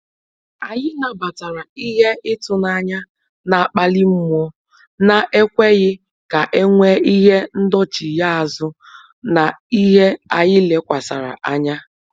Anyị nabatara ihe ịtụnanya na akpali mmụọ na ekweghị ka enwee Ihe ndọchigha azụ na ihe anyị lekwasara anya